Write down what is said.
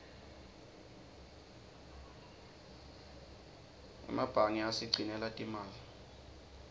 emebange asigcinela timali